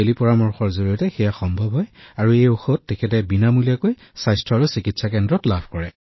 কিন্তু টেলিকনচাল্টেচনৰ জৰিয়তে ই তাত উপলব্ধ আৰু স্বাস্থ্য আৰু সুস্থতা কেন্দ্ৰত বিনামূলীয়া ঔষধ উদ্যোগৰ জৰিয়তে ঔষধও উপলব্ধ